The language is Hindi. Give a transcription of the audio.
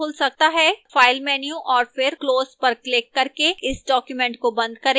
file menu और फिर close पर क्लिक करके इस document को बंद करें